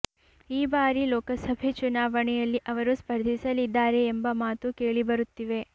ಈ ಬಾರಿ ಲೋಕಸಭೆ ಚುನಾವಣೆಯಲ್ಲಿ ಅವರು ಸ್ಪರ್ಧಿಸಲಿದ್ದಾರೆ ಎಂಬ ಮಾತು ಕೇಳಿಬರುತ್ತಿವೆ